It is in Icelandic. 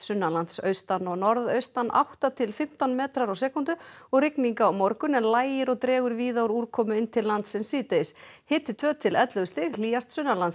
sunnanlands austan og norðaustan átta til fimmtán metrar á sekúndu og rigning á morgun en lægir og dregur víða úr úrkomu inn til landsins síðdegis hiti tvær til ellefu stig hlýjast